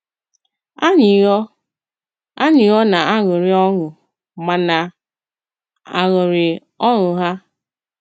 Ànyị ọ̀ Ànyị ọ̀ nā-aṅụrị ọṅụ ma nā-aṅụrị ọṅụ ha?